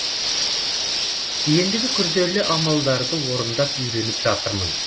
ендігі күрделі амалдарды орындап үйреніп жатырмын